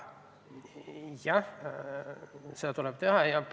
Jah, seda tuleb teha.